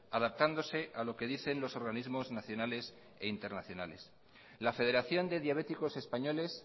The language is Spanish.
adaptándose a lo que dicen los organismos nacionales e internacionales la federación de diabéticos españoles